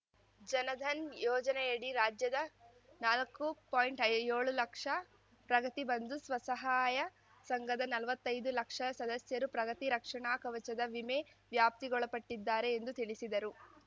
ಜನಧನ್‌ ಯೋಜನೆಯಡಿ ರಾಜ್ಯದ ನಾಲ್ಕು ಪಾಯಿಂಟ್ಐ ಏಳು ಲಕ್ಷ ಪ್ರಗತಿ ಬಂಧು ಸ್ವಸಹಾಯ ಸಂಘದ ನಲ್ವತ್ತೈದು ಲಕ್ಷ ಸದಸ್ಯರು ಪ್ರಗತಿ ರಕ್ಷಣಾ ಕವಚದ ವಿಮೆ ವ್ಯಾಪ್ತಿಗೊಳಪಟ್ಟಿದ್ದಾರೆ ಎಂದು ತಿಳಿಸಿದರು